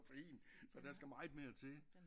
Koffein så der skal meget mere til